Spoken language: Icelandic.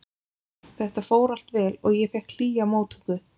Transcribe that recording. Þetta fór allt vel og ég fékk hlýja móttöku.